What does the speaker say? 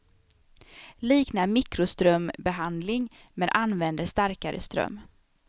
Liknar mikroströmbehandling, men använder starkare ström.